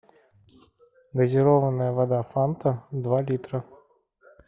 газированная вода фанта два литра